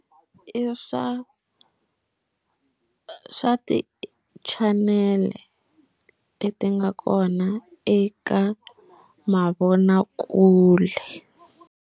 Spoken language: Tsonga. I swa swa ti channel leti nga kona eka mavonakule.